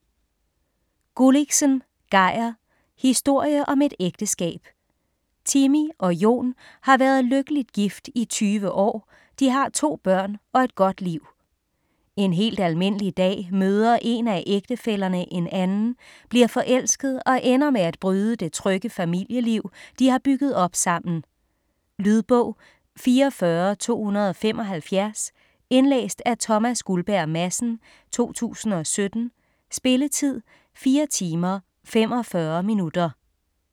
Gulliksen, Geir: Historie om et ægteskab Timmy og Jon har været lykkeligt gift i 20 år, de har to børn og et godt liv. En helt almindelig dag møder en af ægtefællerne en anden, bliver forelsket og ender med at bryde det trygge familieliv de har bygget op sammen. Lydbog 44275 Indlæst af Thomas Guldberg Madsen, 2017. Spilletid: 4 timer, 45 minutter.